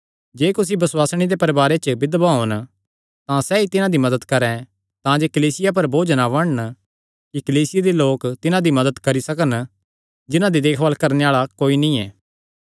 जे कुसी बसुआसणी दे परवारे च बिधवां होन तां सैई तिन्हां दी मदत करैं तांजे सैह़ कलीसिया पर बोझ ना बणन कि कलीसिया दे लोक तिन्हां दी मदत करी सकन जिन्हां दी देखभाल करणे आल़ा कोई नीं ऐ